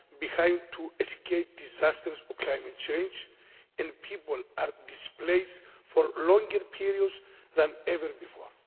homes behind to escape disasters or climate change, and people are displaced for longer periods than ever before.